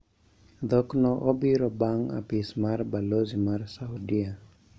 Dhokno obiro bang` apis mar balozi ma Saudia